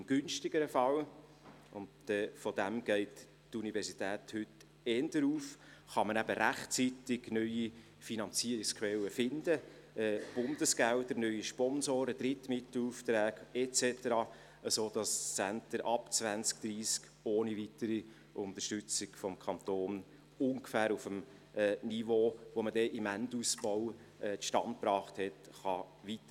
Im günstigeren Fall – und davon geht die Universität heute eher aus – kann man eben rechtzeitig neue Finanzierungsquellen finden, Bundesgelder, neue Sponsoren, Drittmittelaufträge und so weiter, sodass das Center ab 2030 ohne weitere Unterstützung durch den Kanton ungefähr auf dem Niveau weiterarbeiten kann, das man dann im Endausbau zustande gebracht hat.